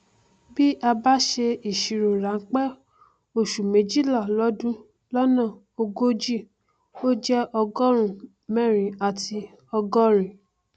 bí a bá ṣe ìṣirò ránpẹ oṣù méjìlá lọdún lọnà ogójì ó jẹ ọgọrùún mẹrin àti ọgọrin